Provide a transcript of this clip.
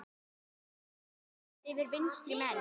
Bros færist yfir vinstri menn.